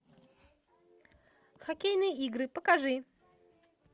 хоккейные игры покажи